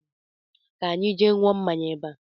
Ka anyị jee ṅụọ mmanya bea